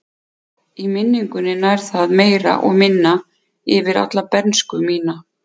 Í minningunni nær það meira eða minna yfir alla bernsku mína.